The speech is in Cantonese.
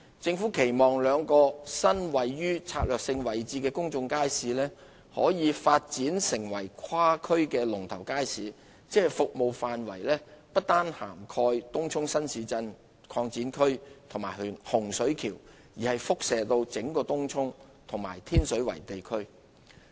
政府期望兩個位於策略位置的新公眾街市，可發展成跨區的"龍頭街市"，即服務範圍不單涵蓋東涌新市鎮擴展區及洪水橋，亦可輻射至整個東涌及天水圍地區。